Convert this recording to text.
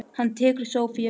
Hann tekur sófa sem dæmi.